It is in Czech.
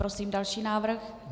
Prosím další návrh.